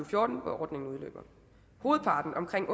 fjorten hvor ordningen udløber hovedparten omkring